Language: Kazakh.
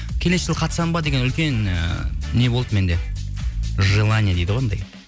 келесі жылы қатысамын ба деген үлкен ы не болды менде желание дейді ғой анандай